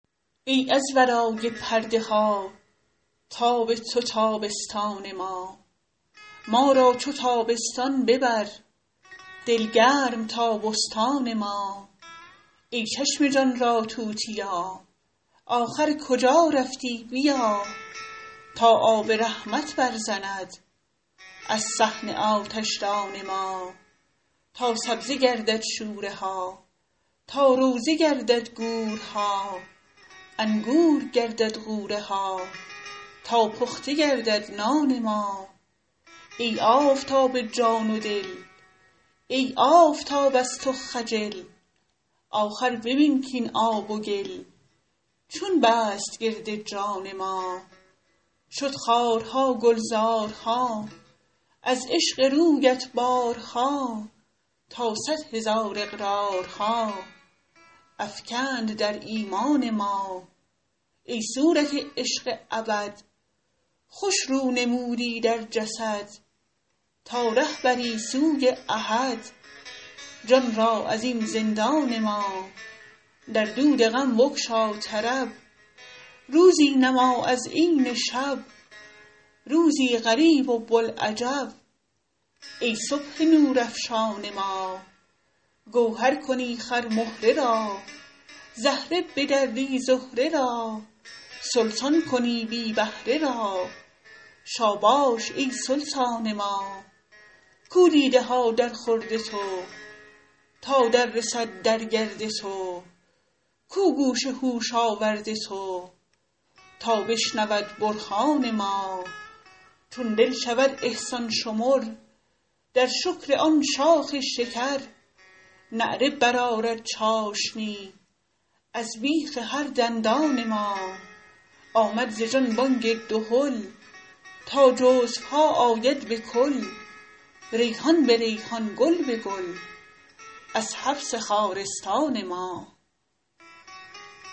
ای از ورای پرده ها تاب تو تابستان ما ما را چو تابستان ببر دل گرم تا بستان ما ای چشم جان را توتیا آخر کجا رفتی بیا تا آب رحمت برزند از صحن آتشدان ما تا سبزه گردد شوره ها تا روضه گردد گورها انگور گردد غوره ها تا پخته گردد نان ما ای آفتاب جان و دل ای آفتاب از تو خجل آخر ببین کاین آب و گل چون بست گرد جان ما شد خارها گلزارها از عشق رویت بارها تا صد هزار اقرارها افکند در ایمان ما ای صورت عشق ابد خوش رو نمودی در جسد تا ره بری سوی احد جان را از این زندان ما در دود غم بگشا طرب روزی نما از عین شب روزی غریب و بوالعجب ای صبح نورافشان ما گوهر کنی خرمهره را زهره بدری زهره را سلطان کنی بی بهره را شاباش ای سلطان ما کو دیده ها درخورد تو تا دررسد در گرد تو کو گوش هوش آورد تو تا بشنود برهان ما چون دل شود احسان شمر در شکر آن شاخ شکر نعره برآرد چاشنی از بیخ هر دندان ما آمد ز جان بانگ دهل تا جزوها آید به کل ریحان به ریحان گل به گل از حبس خارستان ما